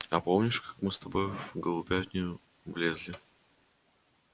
а помнишь как мы с тобой в голубятню влезли